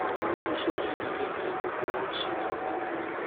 wọn ní iṣẹ ajínigbé ni gbogbo wọn ń ṣe jẹun